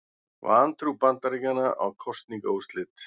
Vantrú Bandaríkjanna á kosningaúrslit